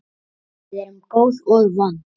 Við erum góð og vond.